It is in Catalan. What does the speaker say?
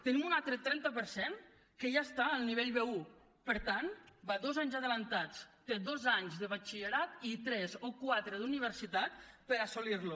tenim un altre trenta per cent que ja està al nivell b1 per tant va dos anys avançat té dos anys de batxillerat i tres o quatre d’universitat per assolir lo